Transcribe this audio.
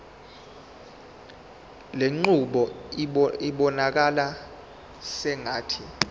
lenqubo ibonakala sengathi